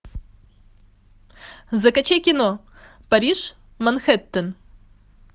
закачай кино париж манхэттен